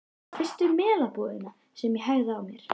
Það var fyrst við Melabúðina sem ég hægði á mér.